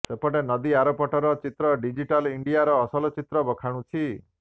ସେପଟେ ନଦୀ ଆରପଟର ଚିତ୍ର ଡିଜିଟାଲ ଇଣ୍ଡିଆର ଅସଲ ଚିତ୍ର ବଖାଣୁଛି